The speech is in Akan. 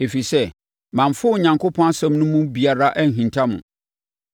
Ɛfiri sɛ, mamfa Onyankopɔn asɛm no mu biribiara anhinta mo.